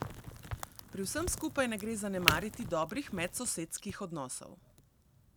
Pri vsem skupaj ne gre zanemariti dobrih medsosedskih odnosov.